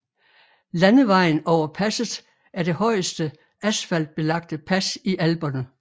Landevejen over passet er det højeste asfaltbelagte pas i Alperne